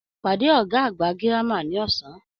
Pade ọgá àgbà gírámà ní ọsán!